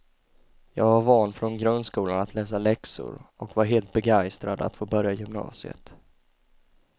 Jag var van från grundskolan att läsa läxor, och var helt begeistrad att få börja gymnasiet.